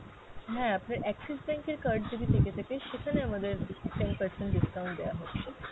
হ্যাঁ, আপনার Axis bank এর card যদি থেকে থাকে সেখানে আমাদের ten percent discount দেওয়া হচ্ছে।